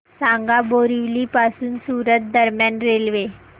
सांगा बोरिवली पासून सूरत दरम्यान रेल्वे